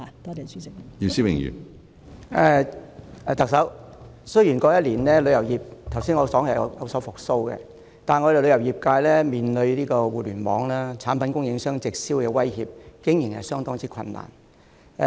特首，雖然我剛才提到旅遊業在過去1年已見復蘇，但我們旅遊業界面對互聯網產品供應商直銷的威脅，經營相當困難。